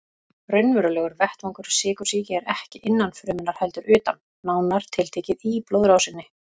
Raunverulegur vettvangur sykursýki er ekki innan frumunnar heldur utan, nánar tiltekið í blóðrásinni.